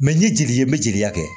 Mɛ n ye jeli ye n bɛ jeli ta kɛ